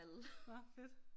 Nåh fedt